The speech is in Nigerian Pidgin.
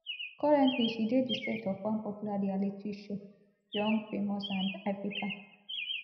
currently she dey di set of one popular reality show young famous and african